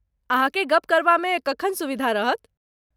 अहाँकेँ गप करबामे कखन सुविधा रहत?